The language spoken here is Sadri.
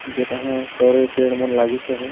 जेटहा सरई पेड़मन लागीस अहय।